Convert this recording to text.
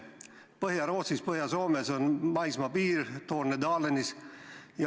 Põhja-Rootsis ja Põhja-Soomes on maismaapiir, Tornedalenis.